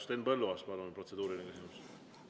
Henn Põlluaas, palun, protseduuriline küsimus!